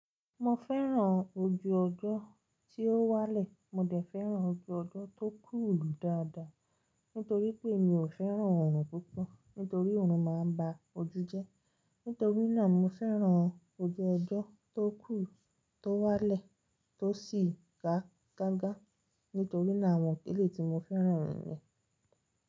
Mo fẹ́ràn ojú ọjọ́ tí ó wálẹ̀. Mò dẹ̀ fẹ́ràn ojú ọjọ́ tó cool dáadáa, nítorí pé mi ò fẹ́ràn oòrùn púpọ̀. Nítorí oòrùn máa ń ba ojú jẹ́. Nítorí náà, mo fẹ́ràn ojú ọjọ́ tó cool, tó wálẹ̀, tó sì da gágá. Nítorí náà, àwọn eleyi tí mo fẹ́ràn niyẹn.